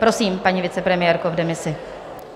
Prosím, paní vicepremiérko v demisi.